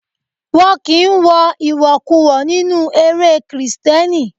Won kí ń wọ ìwọ̀kuwọ̀ nínú eré Kristẹni.